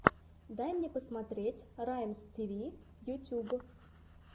дай мне посмотреть раймстиви ютуб